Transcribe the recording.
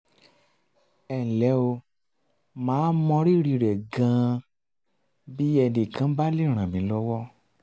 ẹnlẹ́ o màá mọ rírì rẹ̀ gan-an bí ẹnì kan bá lè ràn mí lọ́wọ́